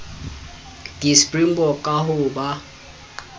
di springbok ka ho ba